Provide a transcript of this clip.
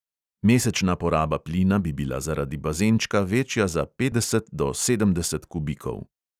Mesečna poraba plina bi bila zaradi bazenčka večja za petdeset do sedemdeset kubikov.